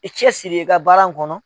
I cɛsiri i ka baara in kɔnɔ.